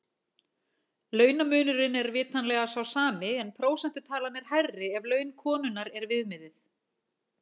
Launamunurinn er vitanlega sá sami en prósentutalan er hærri ef laun konunnar er viðmiðið.